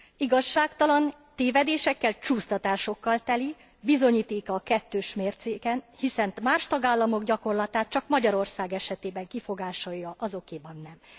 Igazságtalan, tévedésekkel, csúsztatásokkal teli, bizonyítéka a kettős mércének hiszen más tagállamok gyakorlatát csak Magyarország esetében kifogásolja, azokéban nem.